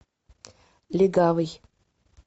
легавый